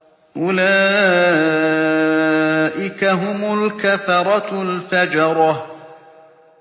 أُولَٰئِكَ هُمُ الْكَفَرَةُ الْفَجَرَةُ